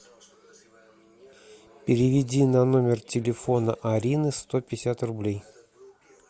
переведи на номер телефона арины сто пятьдесят рублей